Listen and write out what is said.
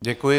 Děkuji.